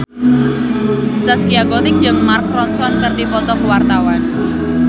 Zaskia Gotik jeung Mark Ronson keur dipoto ku wartawan